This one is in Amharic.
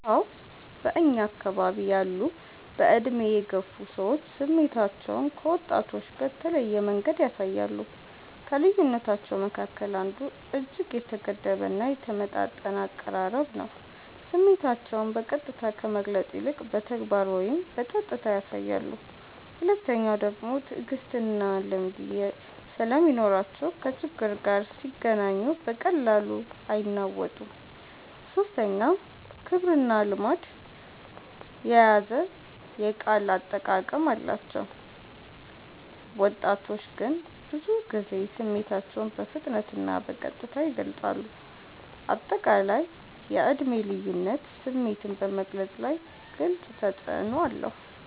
አዎ በእኛ አከባቢ ያሉ በዕድሜ የገፉ ሰዎች ስሜታቸውን ከወጣቶች በተለየ መንገድ ያሳያሉ። ከልዩነታቸዉ መካከል አንዱ እጅግ የተገደበ እና የተመጣጠነ አቀራረብ ነው፤ ስሜታቸውን በቀጥታ ከመግለጽ ይልቅ በተግባር ወይም በጸጥታ ያሳያሉ። ሁለተኛዉ ደግሞ ትዕግስትና ልምድ ስለሚኖራቸው ከችግር ጋር ሲገናኙ በቀላሉ አይናወጡም። ሶስተኛ ክብርና ልማድ የያዘ የቃል አጠቃቀም አላቸው፤ ወጣቶች ግን ብዙ ጊዜ ስሜታቸውን በፍጥነትና በቀጥታ ይገልጻሉ። አጠቃላይ የዕድሜ ልዩነት ስሜትን በመግለፅ ላይ ግልጽ ተፅዕኖ አለው።